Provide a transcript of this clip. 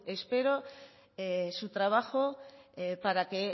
espero su trabajo para que